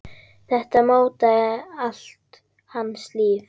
Þetta mótaði allt hans líf.